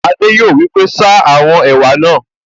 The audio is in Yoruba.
Adé yòó wí pé, 'ṣa àwọn ẹ̀wà náà'